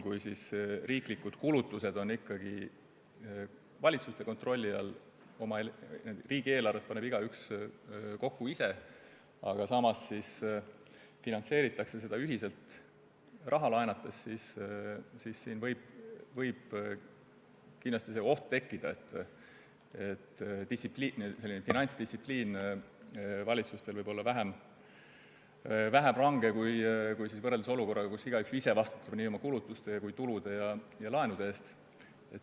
Kui riiklikud kulutused on ikkagi valitsuste kontrolli all ja riigieelarvet paneb igaüks kokku ise, aga seda finantseeritakse ühiselt raha laenates, siis võib kindlasti tekkida oht, et finantsdistsipliin võib valitsustel olla vähem range kui olukorras, kus igaüks vastutab nii oma kulutuste kui ka tulude ja laenude eest ise.